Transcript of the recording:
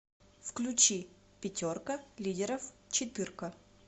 включи пятерка лидеров четырка